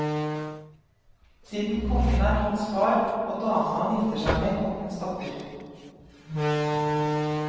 Siden kongen er hans far, og dama han gifter seg med kongens datter.